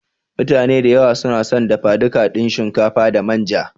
mutane da yawa sunason dafa duka din shinkafa da manja.